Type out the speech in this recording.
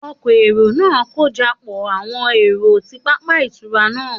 Òkọ̀èrò naa n kojọpọ awọn ero ni pápá itura naa.